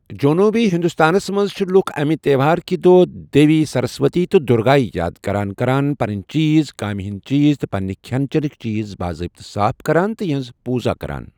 جنوبی ہندوستانس منٛز چھِ لُکھ امہِ تہوار کہِ دۅہ دیوی سرسوتی تہٕ دُرگایہِ یاد کران کران پنٕنۍ چیز، کامہِ ہٕنٛدۍ چیز، تہٕ پننہِ کھٮ۪ن چٮ۪نکۍ چیز، باضابطہ ، صاف کران تہٕ یِہٕنٛز پوجا کران ۔